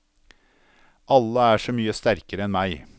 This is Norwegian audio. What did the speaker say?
Alle er så mye sterkere enn meg.